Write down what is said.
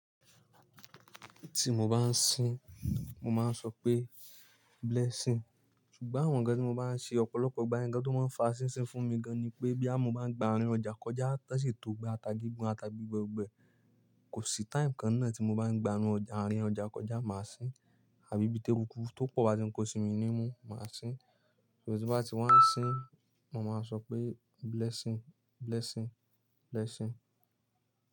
Tí mo bá ń sin, mo máa ń sọ pé blessing. Sugbon àwọn ǹkan tí mo bá ń ṣe, ọ̀pọ̀lọpọ̀ ìgbà ye ǹkan tó máa ń fa sínsin fún mi gan ni pé bí yà mo bá ń gba àárín ọjà kọjá, tó sì tó gba ata gígún, ata gbígbẹ gbẹ, kò sí time kan náà tí mo bá ń gba àárun àárín ọjà kọjá màá sin. Àbí bí téè rù ku tó pọ̀ bá ti ń ko sí mi ní mú, màá sin. So tí bá ti wá ń sin, mo máa sọ pé blessing, blessing, blessing.